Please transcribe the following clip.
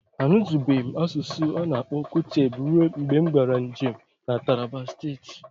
Anutubeghi m asụsụ ana-akpọ Kuteb ruo mgbe m gaara njem na Taraba Steeti.